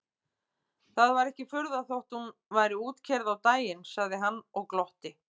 Það var ekki furða þótt hún væri útkeyrð á daginn sagði hann og glotti.